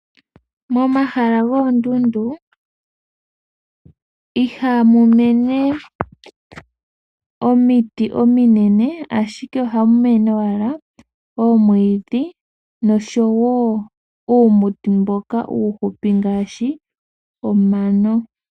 Momahala goondundu ihamu mene omiti ominene ashike ohamu mene owala omwiidhi noshowo omiti ndhoka omihupi ngaashi omano .